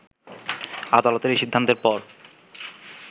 আদালতের এই সিদ্ধান্তের পর